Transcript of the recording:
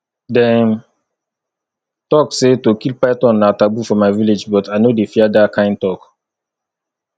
dem talk say to kill python na taboo for my village but i no dey fear dat kyn talk